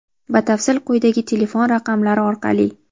Batafsil quyidagi telefon raqamlari orqali:.